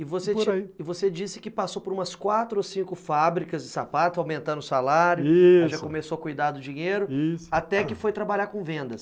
E você disse que passou por umas quatro ou cinco fábricas de sapato, aumentando o salário, isso... já começou a cuidar do dinheiro, isso... até que foi trabalhar com vendas.